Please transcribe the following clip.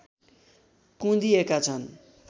कुँदिएका छन्